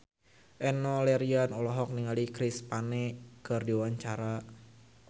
Enno Lerian olohok ningali Chris Pane keur diwawancara